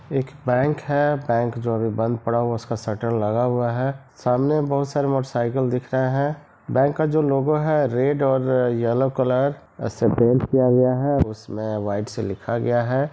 एक बैंक है बैंक जो अभी बंद पड़ा हुआ है उसका शटर लगा हुआ है| सामने बहुत सारी मोटर साइकिल दिख रहे हैं| बेंक का जो लोगो है रेड और येल्लो कलर उसे पेंट किया गया है उसमें वाईट से लिखा गया है।